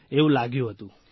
એવું લાગ્યું હતું